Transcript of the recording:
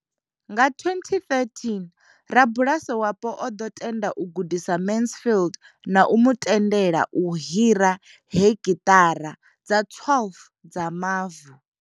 Nga 2013, rabulasi wapo o ḓo tenda u gudisa Mansfield na u mu tendela u hira hekhithara dza 12 dza mavu.